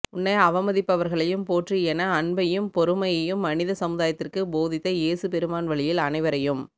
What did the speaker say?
உன்னை அவமதிப்பவர்களையும் போற்று என அன்பையும் பொறுமையையும் மனித சமுதாயத்திற்கு போதித்த இயேசு பெருமான் வழியில் அனைவரையும்